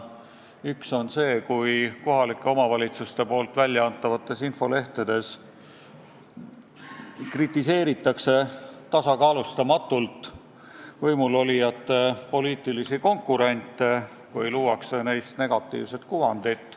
Üks on see, kui kohalike omavalitsuste väljaantavates infolehtedes kritiseeritakse tasakaalustamatult võimul olijate poliitilisi konkurente või luuakse neist negatiivset kuvandit.